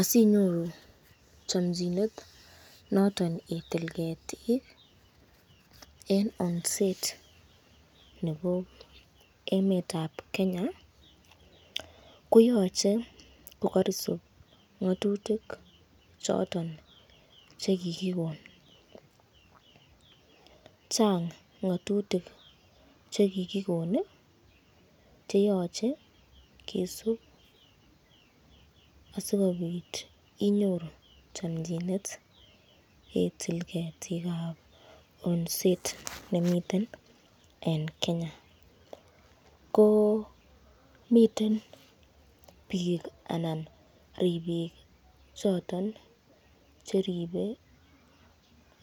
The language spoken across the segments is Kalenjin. Asinyoru chomchinet noton itil ketik en osnet nebo emetab Kenya koyoche kogorisib ng'atutik choton che kigikon. Chang ng'atutik che kigikon cheyoche kisub asikobit inyoru chomchinet itil ketik ab osnet nemiten en Kenya. Ko miten biik anan ribik choton che ripe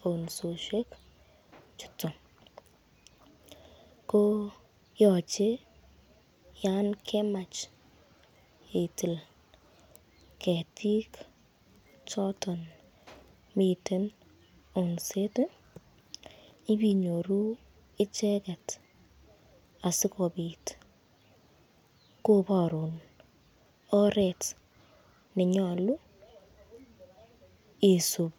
osnoshek chuton ko yoche yankemach itil ketik choton miten osnet ibe inyoru icheget asikobit koborun oret ne nyolu isub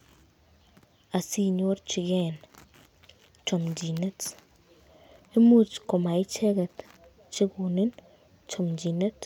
asinorjige chomchinet. Imuch komaicheget che konin chomchinet.